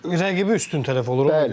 Çünki rəqibi üstün tərəf olur, ona görə.